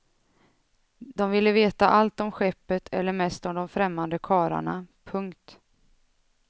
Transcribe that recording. De ville veta allt om skeppet eller mest om de främmande karlarna. punkt